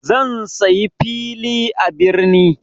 Zan saya fili a birni.